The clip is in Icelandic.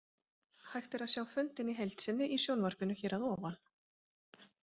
Hægt er að sjá fundinn í heild sinni í sjónvarpinu hér að ofan.